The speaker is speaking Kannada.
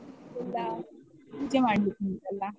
ಎಲ್ಲ ಪೂಜೆ ಮಾಡ್ಲಿಕ್ಕೆ ಉಂಟಲ್ಲ.